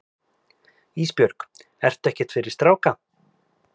Ísbjörg, ertu ekkert fyrir stráka?